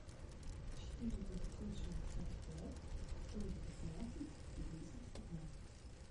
четыре девятьсот шестьдесят пять сто девятнадцать десять пятнадцать